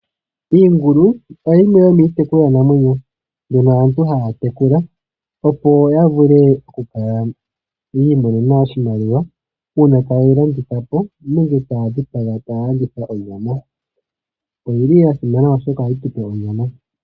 Iingulu oyo yimwe yomiitekulwanamwenyo mbyono aantu haya tekula, opo yavule okukala yiimonena oshimaliwa, uuna tayeyi landithapo, nenge taya dhipaga e taaya landitha onyama. Oyi li yasimana oshoka ohayi tupe onyama.